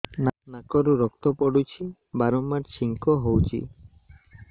ନାକରୁ ରକ୍ତ ପଡୁଛି ବାରମ୍ବାର ଛିଙ୍କ ହଉଚି